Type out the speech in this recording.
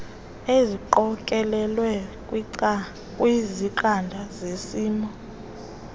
eziqokelelwe kwizangqa zesimo